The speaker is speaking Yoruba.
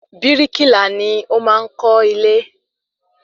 Bíríkìlá ni o maá n Kọ́ ilé